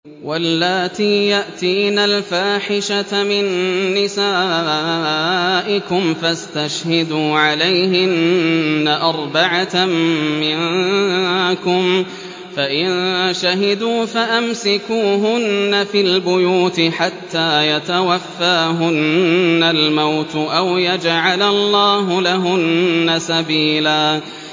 وَاللَّاتِي يَأْتِينَ الْفَاحِشَةَ مِن نِّسَائِكُمْ فَاسْتَشْهِدُوا عَلَيْهِنَّ أَرْبَعَةً مِّنكُمْ ۖ فَإِن شَهِدُوا فَأَمْسِكُوهُنَّ فِي الْبُيُوتِ حَتَّىٰ يَتَوَفَّاهُنَّ الْمَوْتُ أَوْ يَجْعَلَ اللَّهُ لَهُنَّ سَبِيلًا